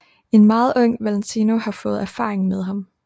En meget ung Valentino har fået erfaring med ham